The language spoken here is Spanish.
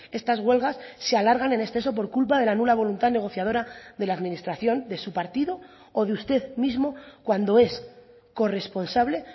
estas huelgas se alargan en exceso por culpa de la nula voluntad negociadora de la administración de su partido o de usted mismo cuando es corresponsable